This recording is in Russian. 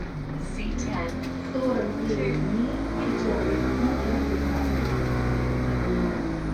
сорок девять дней четвертый сезон часть пятнадцать